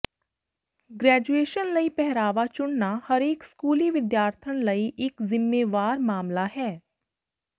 graduation ਲਈ ਪਹਿਰਾਵਾ ਚੁਣਨਾ ਹਰੇਕ ਸਕੂਲੀ ਵਿਦਿਆਰਥਣ ਲਈ ਇਕ ਜ਼ਿੰਮੇਵਾਰ ਮਾਮਲਾ ਹੈ